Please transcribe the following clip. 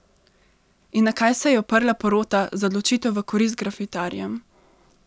In na kaj se je oprla porota za odločitev v korist grafitarjem?